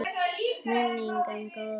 Minning um góðan vin lifir.